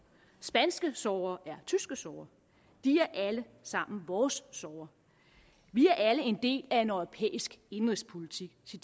spanske sorger er tyske sorger de er alle sammen vores sorger vi er alle en del af en europæisk indenrigspolitik det